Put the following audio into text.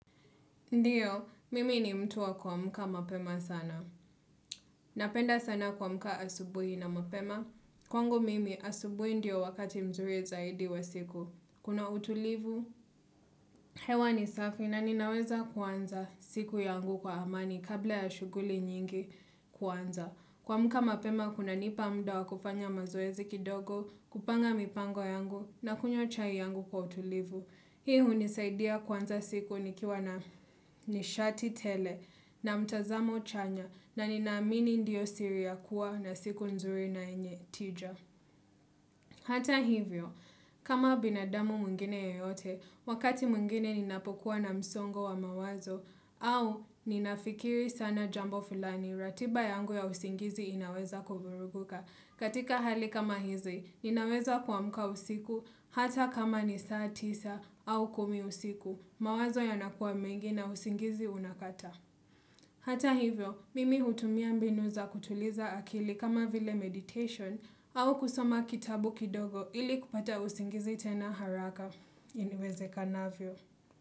Ndiyo, mimi ni mtu wa kuamka mapema sana. Napenda sana kuamka asubuhi na mapema. Kwangu mimi asubuhi ndio wakati mzuri zaidi wa siku. Kuna utulivu, hewa ni safi na ninaweza kuanza siku yangu kwa amani kabla ya shughuli nyingi kuanza. Kuamka mapema, kuna nipa muda wa kufanya mazoezi kidogo, kupanga mipango yangu na kunywa chai yangu kwa utulivu. Hii hunisaidia kuanza siku nikiwa na nishati tele na mtazamo chanya na nina amini ndiyo siri ya kuwa na siku nzuri na yenye tija Hata hivyo, kama binadamu mwingine yoyote, wakati mwingine ninapokuwa na msongo wa mawazo, au ninafikiri sana jambo fulani ratiba yangu ya usingizi inaweza kuvurugika katika hali kama hizi, ninaweza kuamka usiku hata kama ni saa tisa au kumi usiku. Mawazo yanakuwa mengi na usingizi unakata. Hata hivyo, mimi hutumia mbinu za kutuliza akili kama vile meditation au kusoma kitabu kidogo ili kupata usingizi tena haraka. Iwezekanavyo.